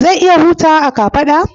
Zan iya hutawa a kafada?